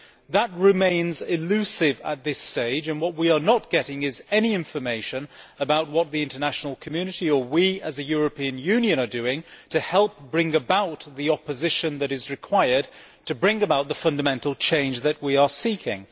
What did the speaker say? That remains elusive at this stage, and we are not getting any information about what the international community, or we as a European Union, are doing to help bring about the opposition that is required to effect the fundamental change that we are seeking.